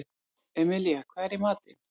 Emilía, hvað er í matinn?